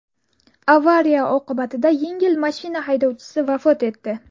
Avariya oqibatida yengil mashina haydovchisi vafot etdi.